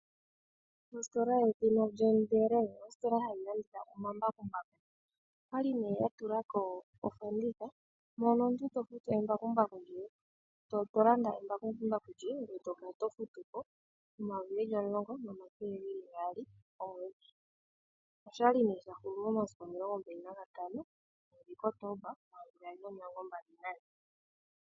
Ostola ye dhina John Deere, ostola hayi landitha oma mbakumbaku. Okwali nee ya tulako ofanditha, mono omuntu tolanda embakumbaku djoye eto kala tofutu ko 10200 komwedhi. Oshali nee sha hulu momasiku 25 Kotoomba 2024.